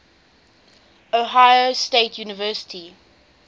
ohio state university